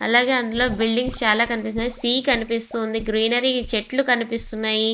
అలాగే అందులో బిల్డింగ్స్ చాలా కనపిస్తూ వున్నాయ్. సి కనిపిస్తూ వుంది. గ్రీనరి చెట్టులు కనిపిస్తూ వుంది.